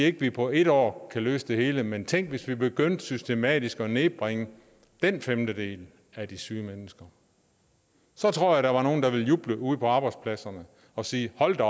at vi på et år kan løse det hele men tænk hvis vi begyndte systematisk at nedbringe den femtedel af de syge mennesker så tror jeg der var nogle der ville juble ude på arbejdspladserne og sige hold da